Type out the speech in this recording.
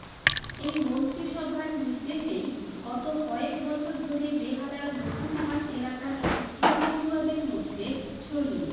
এই মন্ত্রিসভার নির্দেশেই গত কয়েক বছর ধরে বেহালার নতুনহাট এলাকার একটি স্কুলপড়ুয়াদের মধ্যে ছড়িয়ে